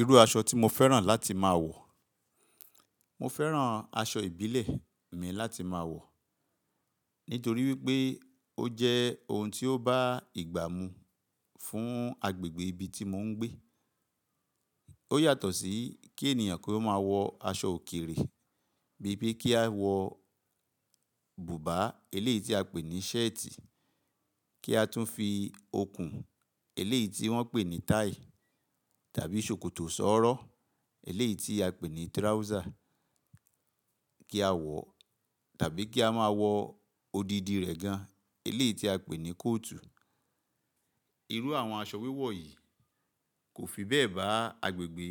Irú aṣọ tí mo fẹ́ràn láti máa wọ̀, mo fẹ́ràn aṣọ ìbílẹ̀ mi láti máa wọ̀ nítorí wípé ó jẹ́ oun tí ó bá ìgbá mu fún agbègbè ibi tí mò ń gbé. Ó yàtọ̀ sí kí ènìyàn kó máa wọ aṣọ òkèrè bí i pé kí a wọ bùbá, eléyìí tí a pè ní ṣẹ́ẹ̀tì, kí a tún fi okùn, eléyìí tí wọ́n pè ní táì, tàbí ṣòkòtò sọ́ọ́rọ́, eléyìí tí a pè ní tirawúsà kí a wọ̀, tàbí kí a máa wọ odidi rẹ̀ gan, eléyìí tí a pè ní kóòtù. Irú àwọn aṣọ wíwọ̀ yìí kò fi bẹ́ẹ̀ bá agbègbè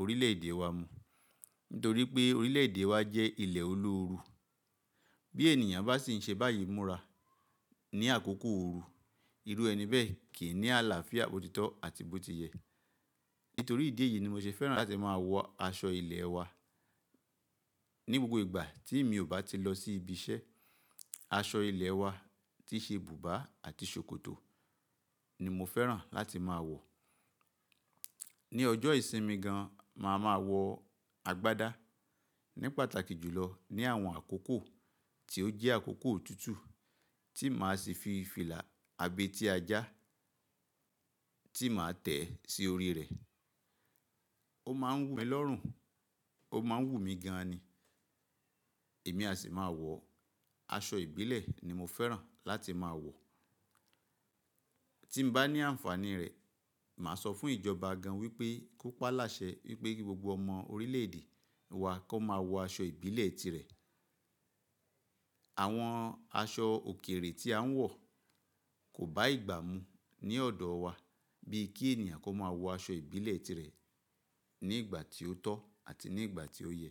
orílẹ̀ èdè wa mu nítorí pé orílẹ̀ èdè wa jẹ́ ilẹ̀ olóoru. Bí ènìyàn bá sì ń ṣe báyìí Múrà ní àkókò ooru, irú ẹni bẹ́ẹ̀ kì í ní àlàáfíà bò títọ́ àti bó ti yẹ. Nítorí ìdí èyí ni mo ṣe fẹ́ràn láti máa wọ aṣọ ilẹ̀ wa ní gbogbo ìgbà tí mi ò bá ti lọ sí ibi iṣẹ́. Aṣọ ilẹ̀ wa tí ṣe bùbá àti ṣòkòtò ni mo fẹ́ràn láti máa wọ̀. Ní ọjọ́ ìsinmi gan, màá ma wọ agbádá ní pàtàkì jùlọ ní àwọn àkókò tí ó jẹ́ àkókò òtútù tí màá sì fi fìlà abẹ́ tí a já tí màá tẹ̀ẹ́ sí orí rẹ̀. Ó máa ń wù mí lọ́rùn, ó máa ń wù mí gan ni. Èmi a sì máa wọ̀. Aṣọ ìbílẹ̀ ni mo fẹ́ràn láti máa wọ̀. Tí mo bá ní àǹfàní rẹ̀, màá sọ fún ìjọba gan wípé kó pa á láṣẹ wípé gbogbo ọmọ orílẹ̀ èdè wa kó máa wọ aṣọ ìbílẹ̀ tirẹ̀. Àwọn aṣọ òkèrè tí a ń wọ̀ kò bá ìgbá mu ní ọ̀dọ̀ wa bíi kí ènìyàn kó máa wọ aṣọ ìbílẹ̀ tirẹ̀ ní ìgbà tí ó tọ́ àti ní ìgbà tí ó yẹ.